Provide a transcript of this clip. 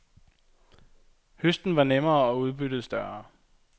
Høsten var nemmere og udbyttet større.